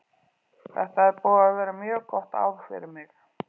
Þetta er búið að vera mjög gott ár fyrir mig.